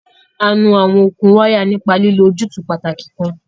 A nu àwọn okùn wáyà nípa lílo ojútùú pàtàkì kan.